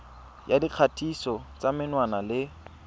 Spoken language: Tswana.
ya dikgatiso tsa menwana le